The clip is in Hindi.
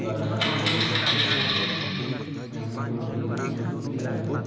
दिखाई दे रहे हैं सामने कि ओर दिन का समय दिखाई दे आजू बाजू--